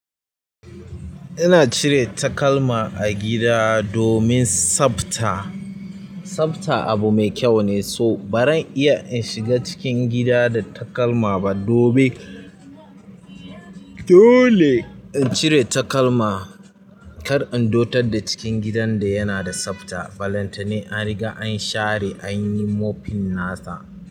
Ina cire takalma a gida domin tsafta. Tsafta abu mai kyau ne, so baran iya in shiga cikin gida da takalma ba. Dole in cire takalma kar in dotar da cikin gidan da yana da tsafta. Balantana an riga an share an yi mopping na sa.